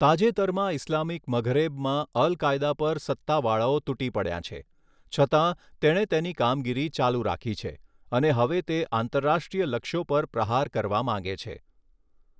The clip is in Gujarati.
તાજેતરમાં ઇસ્લામિક મઘરેબમાં અલ કાયદા પર સત્તાવાળાઓ તૂટી પડ્યાં છે, છતાં, તેણે તેની કામગીરી ચાલુ રાખી છે અને હવે તે આંતરરાષ્ટ્રીય લક્ષ્યો પર પ્રહાર કરવા માંગે છે.